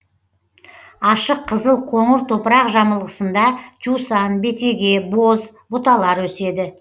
ашық қызыл қоңыр топырақ жамылғысында жусан бетеге боз бұталар еседі